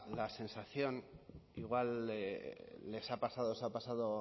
la sensación igual les ha pasado os ha pasado